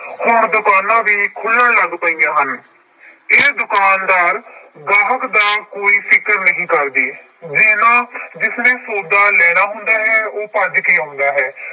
ਹੁਣ ਦੁਕਾਨਾਂ ਵੀ ਖੁੱਲਣ ਲੱਗ ਪਈਆਂ ਹਨ ਇਹ ਦੁਕਾਨਦਾਰ ਗਾਹਕ ਦਾ ਕੋਈ ਫ਼ਿਕਰ ਨਹੀਂ ਕਰਦੇ, ਜਿਹਨਾਂ ਜਿਸਨੇ ਸੌਦਾ ਲੈਣਾ ਹੁੰਦਾ ਹੈ ਉਹ ਭੱਜ ਕੇ ਆਉਂਦਾ ਹੈ।